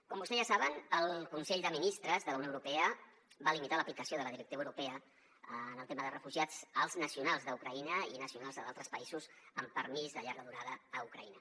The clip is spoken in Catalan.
com vostès ja saben el consell de ministres de la unió europea va limitar l’aplicació de la directiva europea en el tema dels refugiats als nacionals d’ucraïna i nacionals d’altres països amb permís de llarga durada a ucraïna